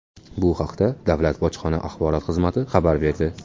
Bu haqda Davlat bojxona axborot xizmati xabar berdi .